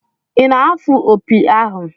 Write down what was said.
Ị na-afụ opi ahụ?